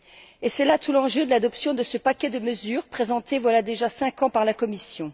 Et c'est là tout l'enjeu de l'adoption de ce paquet de mesures présenté voilà déjà cinq ans par la Commission.